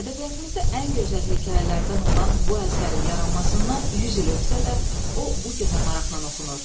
Ədəbiyyatımızda ən gözəl hekayələrdən olan bu əsərin yaranmasından 100 il ötsə də, o bu gün də maraqla oxunur.